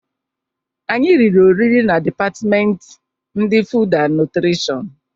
Anyị riri oriri na depatmenti ndi fud na nutrishọn.